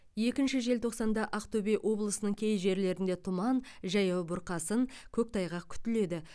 екінші желтоқсанда ақтөбе облысының кей жерлерінде тұман жаяу бұрқасын көктайғақ күтіледі